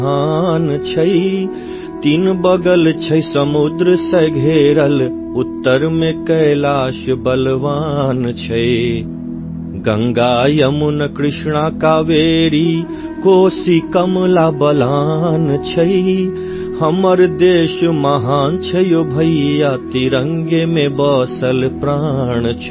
Maithili sound clip 30 సెకన్లు తెలుగు అనువాదం